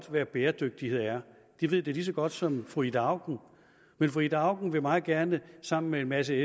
hvad bæredygtighed er de ved det lige så godt som fru ida auken men fru ida auken vil meget gerne sammen med en masse